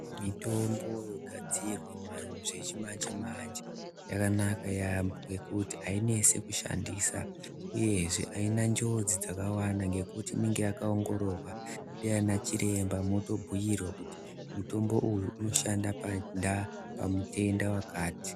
Mitombo yogadzirwa zvechimanje-manje, yakanaka yaamho ngekuti ainesi kushandisa, uyezve haina njodzi dzakawanda, ngekuti inenge yakaongororwa ndiana chiremba. Unotobhuyirwa kuti mutombo uyu unoshanda pamutenda wakati.